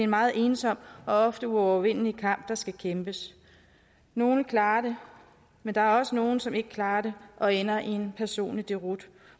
meget ensom og ofte uovervindelig kamp der skal kæmpes nogle klarer det men der er også nogle som ikke klarer det og ender i en personlig deroute